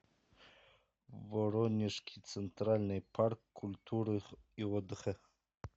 воронежский центральный парк культуры и отдыха